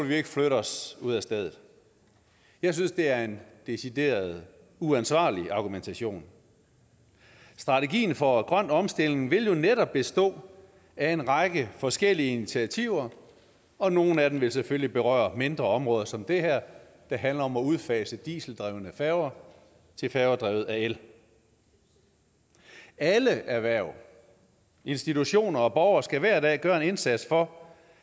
vi ikke flytte os ud af stedet jeg synes det er en decideret uansvarlig argumentation strategien for en grøn omstilling vil netop bestå af en række forskellige initiativer og nogle af dem vil selvfølgelig berøre mindre områder som det her der handler om at udfase dieseldrevne færger til færger drevet af el alle erhverv institutioner og borgere skal hver dag gøre en indsats for